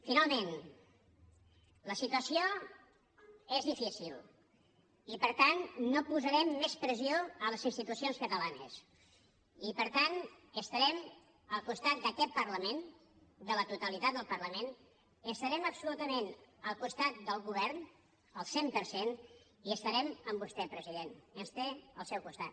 finalment la situació és difícil i per tant no posarem més pressió a les institucions catalanes i per tant estarem al costat d’aquest parlament de la totalitat del parlament i estarem absolutament al costat del govern al cent per cent i estarem amb vostè president ens té al seu costat